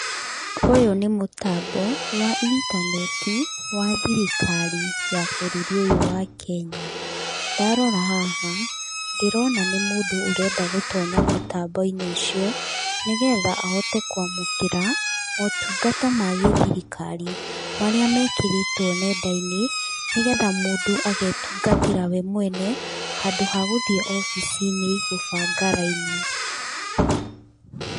Ũyũ nĩ mũtambo wa intaneti wa thirikari ya bũrũri ũyũ wa Kenya. Ndarora haha ndĩrona nĩ mũndũ ũrenda gũtonya mutambo-inĩ ũcio nĩgetha ahote kwamũkĩra motungata ma gĩthirikari marĩa mekĩrĩtwo nenda-inĩ nĩgetha mũndũ agetungatĩra we mwene handũ hagũthiĩ obici-inĩ gũbanga raini.